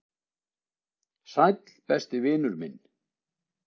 """Sæll, besti vinur minn."""